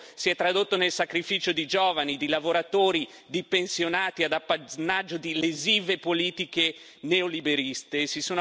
Ecco, si è tradotto nel sacrificio di giovani, di lavoratori, di pensionati ad appannaggio di lesive politiche neoliberiste.